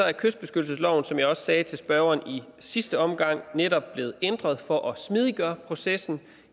er kystbeskyttelsesloven som jeg også sagde til spørgeren i sidste omgang netop blevet ændret for at smidiggøre processen